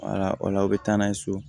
Wala o la aw bɛ taa n'a ye so